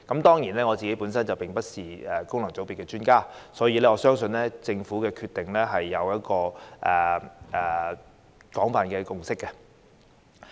雖然我不是功能界別的專家，但我相信政府的決定已得到廣泛的共識。